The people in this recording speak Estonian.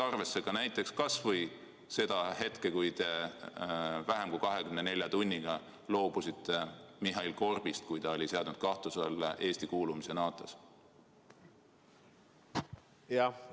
Arvesse tuleks võtta näiteks kas või seda, et te vähem kui 24 tunni jooksul loobusite Mihhail Korbist, kui ta oli seadnud kahtluse alla Eesti kuulumise NATO-sse?